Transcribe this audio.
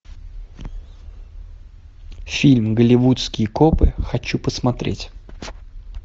фильм голливудские копы хочу посмотреть